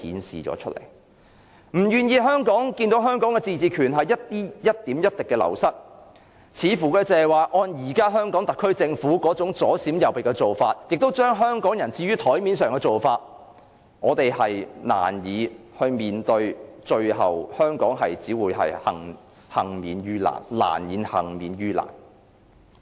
如果不願意看到香港的自治權一點一滴地流失，按現時香港特區政府左閃右避、把香港人置於檯面的做法，香港最後只會難以幸免於難。